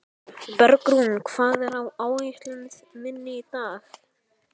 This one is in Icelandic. Bergrún, hvað er á áætluninni minni í dag?